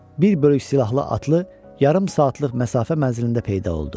Bir bölük silahlı atlı yarım saatlıq məsafə mənzilində peyda oldu.